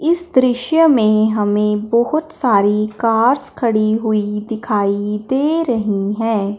इस दृश्य में हमें बहोत सारी कार्स खड़ी हुई दिखाई दे रही है।